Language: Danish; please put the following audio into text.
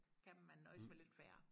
Kan man nøjes med til færre